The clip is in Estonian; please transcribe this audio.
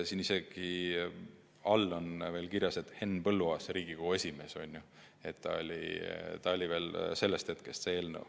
Siin all on isegi kirjas, et Henn Põlluaas oli Riigikogu esimees, juba sellest ajast on see eelnõu.